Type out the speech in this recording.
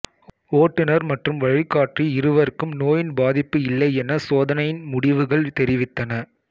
ஓட்டுனர் மற்றும் வழிகாட்டி இருவருக்கும் நோயின் பாதிப்பு இல்லையென சோதனையின் முடிவுகள் தெரிவித்தன